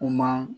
Kuma